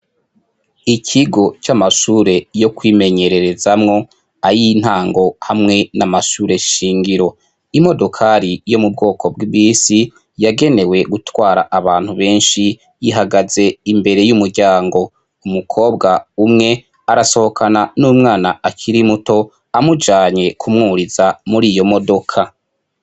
Ikigo c'amashure yo kwimenyererezamwo, ayintango hamwe n'amashure shingiro, imodokari yo mu bwoko bw'ibisi yagenewe gutwara abantu benshi ihagaze imbere y'umuryango, umukobwa umwe arasohokana n'umwana akiri muto amujanye kumwuriza muri iyo modoka.